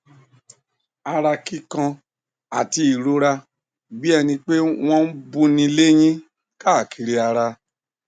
ara kíkan àti ìrora bí ẹni pé wọn ń buni léyín káàkiri ara